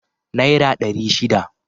Naira ɗari shida.